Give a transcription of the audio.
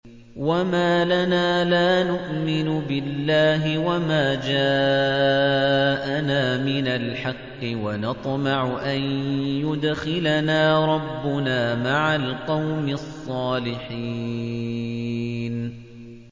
وَمَا لَنَا لَا نُؤْمِنُ بِاللَّهِ وَمَا جَاءَنَا مِنَ الْحَقِّ وَنَطْمَعُ أَن يُدْخِلَنَا رَبُّنَا مَعَ الْقَوْمِ الصَّالِحِينَ